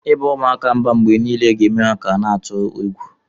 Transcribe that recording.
Iba umuaka mba mgbe nile ga eme ka ha na atụgi egwu.